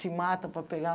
Se mata para pegar.